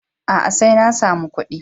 A'a, sai na samu ƙuɗi.